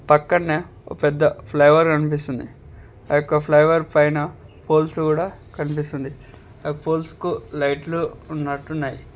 పక్కనే ఒక పెద్ద ఫ్లైఓవర్ కనిపిస్తుంది ఆ యొక్క ఫ్లైఓవర్ పైన పోల్స్ కూడా కనిపిస్తుంది ఆ పోల్స్ కు లైట్స్ ఉన్నట్టు ఉన్నాయి.